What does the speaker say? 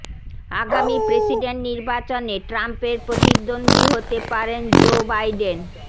আগামী প্রেসিডেন্ট নির্বাচনে ট্রাম্পের প্রতিদ্বন্দ্বী হতে পারেন জো বাইডেন